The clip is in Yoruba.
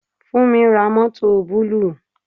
Funmi ra mọ́tọ̀ búlúù.